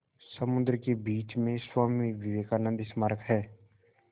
समुद्र के बीच में स्वामी विवेकानंद स्मारक है